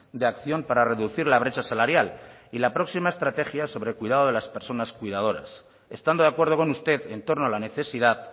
de acción para reducir la brecha salarial y la próxima estrategia sobre el cuidado de las personas cuidadoras estando de acuerdo con usted en torno a la necesidad